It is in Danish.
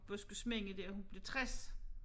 Buskysminde der hun blev 60